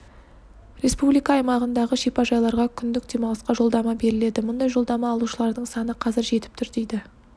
республика аймағындағы шипажайларға күндік демалысқа жолдама беріледі мұндай жолдама алушылардың саны қазір жетіп тұр дейді